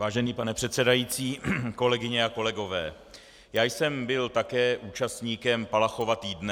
Vážený pane předsedající, kolegyně a kolegové, já jsem byl také účastníkem Palachova týdne.